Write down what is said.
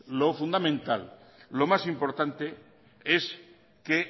lo fundamental lo más importante es que